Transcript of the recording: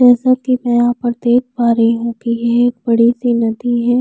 जैसा कि मैं यहाँ पर देख पा रही हूं कि ये एक बड़ी सी नदी है।